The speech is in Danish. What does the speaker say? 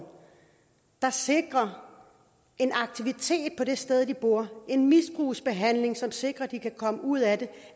der sikrer en aktivitet på det sted de bor en misbrugsbehandling som sikrer at de kan komme ud af det